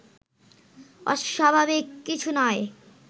অস্বাভাবিক কিছু নয়